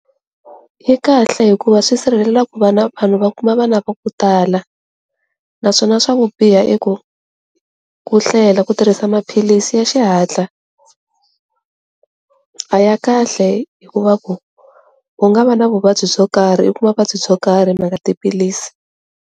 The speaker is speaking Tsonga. Yi kahle hikuva swi sirhelela ku vana vanhu va kuma vana va ku tala naswona swa ku biha i ku ku hlwela ku tirhisa maphilisi ya xihatla a ya kahle hikuva ku, u nga va na vuvabyi byo karhi u kuma vuvabyi byo karhi hi mhaka tiphilisi.